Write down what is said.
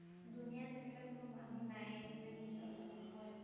দুনিয়াত এনেকুৱা কোনো মানুহ নাইয়ে যুনে মিছা কথা নকয়।